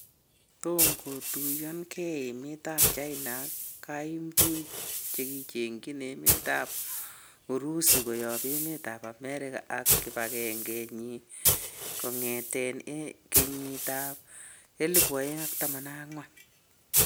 Tomo Kotuyo gen emetab China en kaimtuik chegigindechi emetab Urusi koyob emetab Amerika ak kibagenge kyik kongeten en kenyiitab 2014.